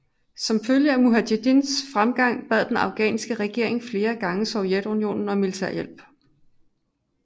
Som følge af mujahedins fremgang bad den afghanske regering flere gange Sovjetunionen om militærhjælp